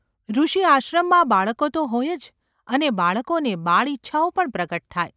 ઋષિઆશ્રમમાં બાળકો તો હોય જ અને બાળકોને બાળઇચ્છાઓ પણ પ્રગટ થાય.